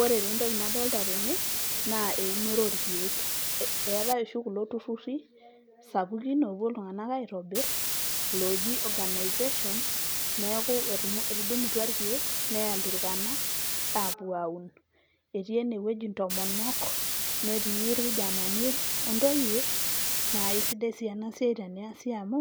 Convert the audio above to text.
Ore taa entoki nadolta tene naa eunore orkeek, eetai oshi kulo tururi sapukin oopuo iltung'anak aitobir ooji organizations, neeku etudumutua irkeek neya ilturkana aapuo aun. Etii ene wueji intomonok, netii irkijanani o ntoyie naa kesidai sii ena siai teneasi amu